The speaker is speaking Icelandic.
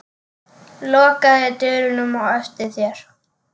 Lokaðu dyrunum á eftir þér.